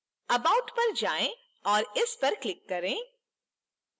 about पर जाएँ और इस पर click करें